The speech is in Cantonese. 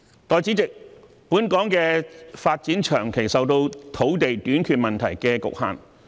代理主席，本港的發展長期受到土地短缺問題所局限。